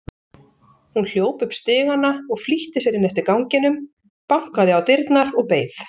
Hún hljóp upp stigana og flýtti sér inn eftir ganginum, bankaði á dyrnar og beið.